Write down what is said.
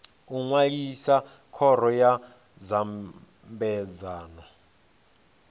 u ṅwalisa khoro ya nyambedzano